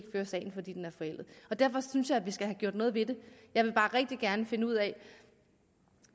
føre sagen fordi den er forældet derfor synes jeg at vi skal have gjort noget ved det jeg vil bare rigtig gerne finde ud af